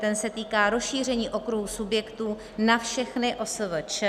Ten se týká rozšíření okruhu subjektů na všechny OSVČ.